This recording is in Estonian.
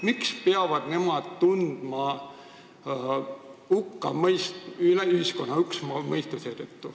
Miks peavad nemad seetõttu ühiskonna hukkamõistu tundma?